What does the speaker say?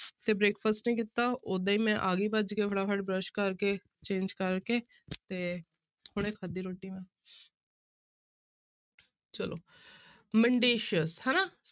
ਤੇ breakfast ਨਹੀਂ ਕੀਤਾ ਓਦਾਂ ਹੀ ਮੈਂ ਆ ਗਈ ਭੱਜ ਕੇ ਫਟਾਫਟ ਬਰਸ਼ ਕਰਕੇ change ਕਰਕੇ ਤੇ ਹੁਣੇ ਖਾਧੀ ਰੋਟੀ ਮੈਂ ਚਲੋ mendacious ਹਨਾ